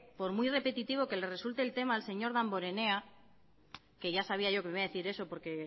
por muy repetitivo que le resulte el tema al señor damborenea que ya sabía yo que me iba a decir eso porque